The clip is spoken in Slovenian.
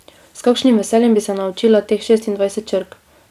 S kakšnim veseljem bi se naučila teh šestindvajset črk!